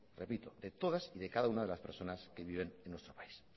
repito de todas y de cada una de las personas que viven en nuestro país